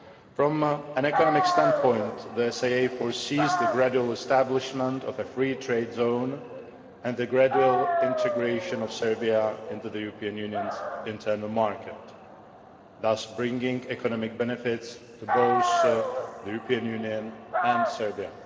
From an economic standpoint, the SAA foresees the gradual establishment of a free trade zone and the gradual integration of Serbia into the European Union's internal market, thus bringing economic benefits for both the European Union and Serbia.